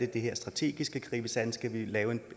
det her strategisk skal gribes an skal vi lave